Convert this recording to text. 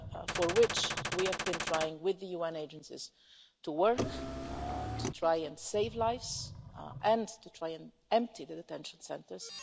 for which we have been trying with the UN agencies to work to try and save lives and to try and empty the detention centres.